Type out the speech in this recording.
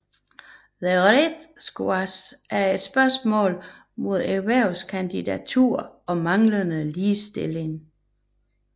The Red Square er et symbol mod erhvervsdiktatur og manglende ligestilling